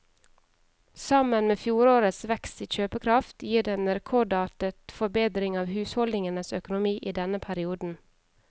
Sammen med fjorårets vekst i kjøpekraft gir det en rekordartet forbedring av husholdningenes økonomi i denne perioden.